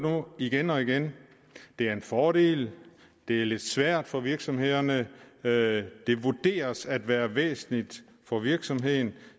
igen og igen det er en fordel det er lidt svært for virksomhederne det vurderes at være væsentligt for virksomhederne